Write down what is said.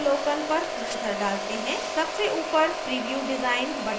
सबसे ऊपर preview design button पर click करें